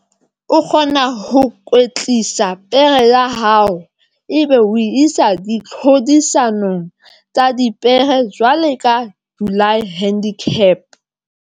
O kgona ho kwetlisa pere ya hao ebe o isa di tlhodisanong tsa dipere jwalo ka July handicap.